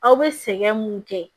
Aw bɛ sɛgɛn mun kɛ